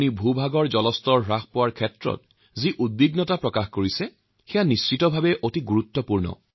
ভূগৰ্ভৰ জলস্তৰ কমি যোৱাৰ প্ৰসংগত আপুনি যি উদ্বেগ প্ৰকাশ কৰিছে সেয়া সচাই অতি চিন্তনীয়